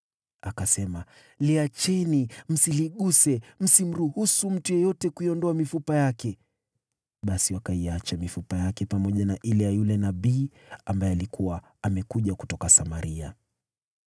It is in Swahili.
Akasema, “Liacheni, msiliguse. Msimruhusu mtu yeyote kuiondoa mifupa yake.” Basi wakaiacha mifupa yake pamoja na ile ya yule nabii ambaye alikuwa amekuja kutoka Samaria.